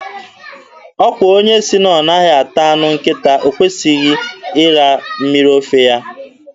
Ọkwa onye sị na ọ naghị ata anụ nkịta, o kwesịghị ịra mmiri ofe ya?